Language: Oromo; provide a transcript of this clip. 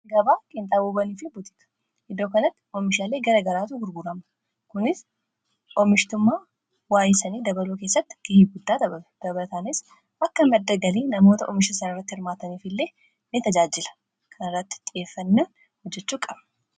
gabaa qinxaaboowwanii fi butika iddoo kanatti oomishaalee gara garaatu gurgurama. kunis oomishitumaa waayisanii dabaluu keessatti ga'ee qaba.. dabataanis akka maddagalii namoota oomisha sana irratti hirmaataniif illee ni tajaajila kana irratti xiyeeffannaan hojjechuu qaba.